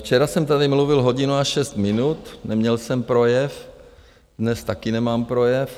Včera jsem tady mluvil hodinu a šest minut, neměl jsem projev, dnes taky nemám projev.